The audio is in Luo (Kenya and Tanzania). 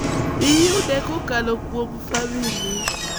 iyude kokalo kuom famili .